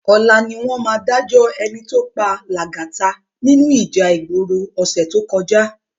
Òlá niwòn má dájò èní tó pá Lagata ninú íjà igbóró òsè tókòjá